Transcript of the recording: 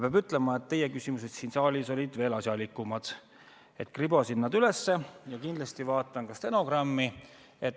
Peab ütlema, et teie küsimused siin saalis olid veel asjalikumad, ma kribasin nad üles ja kindlasti vaatan ka stenogrammi.